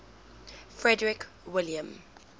frederick william